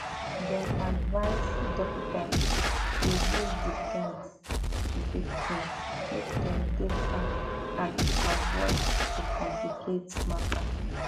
dem advise dokitas to use di guides to dey clean make dem dey fine and avoid to complicate matter